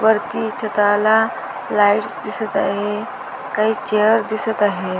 वरती छताला लाइट्स दिसत आहे काही चेअर दिसत आहे.